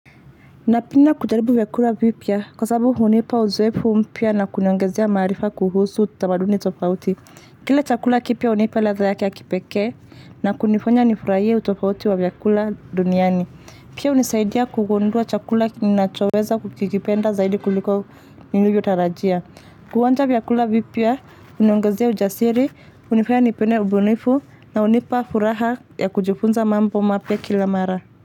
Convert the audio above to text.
Napenda kujaribu vyakula vipya kwa sababu hunipa uzoefu mpya na kuniongezea maarifa kuhusu tamaduni tofauti. Kile chakula kipya hunipa ladha yake ya kipekee na kunifanya nifurahie utofauti wa vyakula duniani. Pia hunisaidia kugundua chakula ninachoweza kukikipenda zaidi kuliko nilivyotarajia. Kuonja vyakula vipya, huniongezea ujasiri, hunifanya nipende ubunifu na hunipa furaha ya kujifunza mambo mapya kila mara.